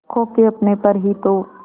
खो के अपने पर ही तो